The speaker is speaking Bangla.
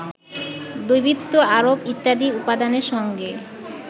দেবীত্ব আরোপ ইত্যাদি উপাদান সঙ্গে